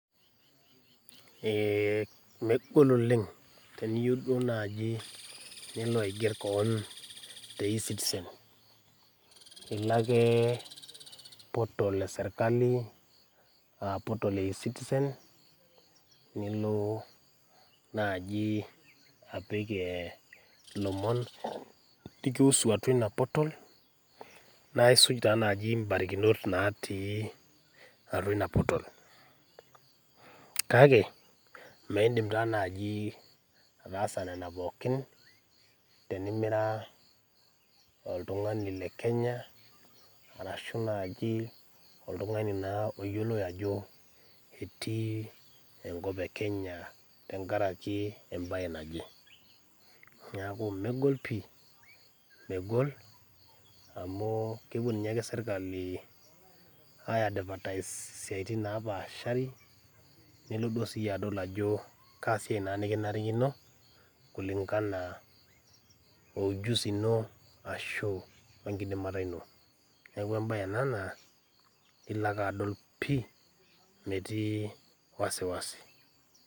Eeh megol oleng' teniyou duo naji niloaigerr koon te e-citizen. Iloakee portal eserkali aaportal e e-citizen, niloo naji apik eeh ilomon likihusu atua ina portal naisuj taanaji imbarikinot naatii atua ina portal. Kake, meeindim taa najii ataasa nena pookin tenimiraa oltung'ani le Kenya arashu naji oltung'ani naa oyioloi ajo etii enkop e Kenya tengaraki embaye naje. Neaku megol pii, megol amuu kepuo ninyeake  serkali aiadvatais isiaitin napaashari niloduo siyie adol ajoo kaasiai naa nikinarikino kulingana oujusi ino ashuu oenkidimata ino. Neaku embaye ena naa iloake adol pii metii wasiwasi.